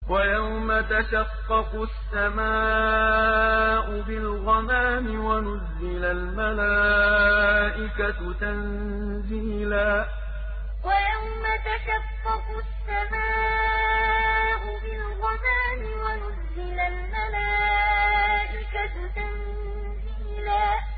وَيَوْمَ تَشَقَّقُ السَّمَاءُ بِالْغَمَامِ وَنُزِّلَ الْمَلَائِكَةُ تَنزِيلًا وَيَوْمَ تَشَقَّقُ السَّمَاءُ بِالْغَمَامِ وَنُزِّلَ الْمَلَائِكَةُ تَنزِيلًا